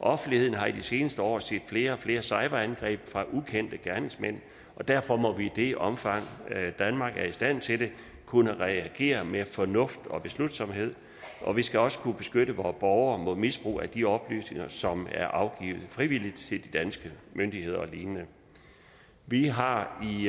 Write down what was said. offentligheden har i de seneste år set flere og flere cyberangreb fra ukendte gerningsmænd og derfor må vi i det omfang danmark er i stand til det kunne reagere med fornuft og beslutsomhed og vi skal også kunne beskytte vore borgere mod misbrug af de oplysninger som er afgivet frivilligt til de danske myndigheder og lignende vi har i